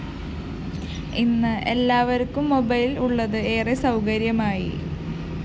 ഇന്ന് എല്ലാവര്‍ക്കും മൊബൈൽ ഉള്ളത് ഏറെ സൗകര്യമായി